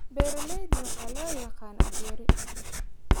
Beeralayda waxaa loo yaqaan apiari.